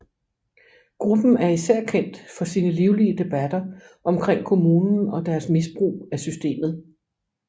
Gruppen er især kendt for sine livlige debatter omkring kommunen og deres misbrug af systemet